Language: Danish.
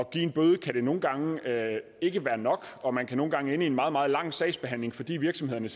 give en bøde kan det nogle gange ikke være nok og man kan nogle gange ende i en meget meget lang sagsbehandling fordi virksomhederne